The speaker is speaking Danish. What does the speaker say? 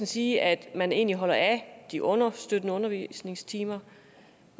sige at man egentlig holder af de understøttende undervisningstimer